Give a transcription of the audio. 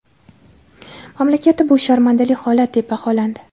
Mamlakatda bu sharmandali holat, deb baholandi.